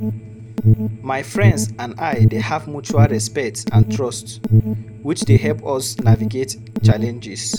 My friends and I dey have mutual respect and trust, which dey help us navigate challenges.